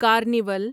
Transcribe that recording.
carnival